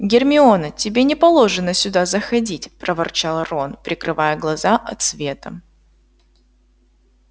гермиона тебе не положено сюда заходить проворчал рон прикрывая глаза от света